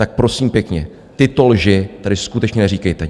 Tak prosím pěkně, tyto lži tady skutečně neříkejte!